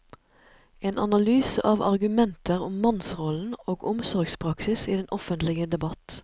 En analyse av argumenter om mannsrollen og omsorgspraksis i den offentlige debatt.